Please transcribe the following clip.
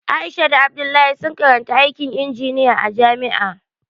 Aisha da Abdullahi suna karantar aikin injiniya a jami'a